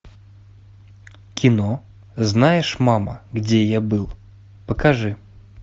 кино знаешь мама где я был покажи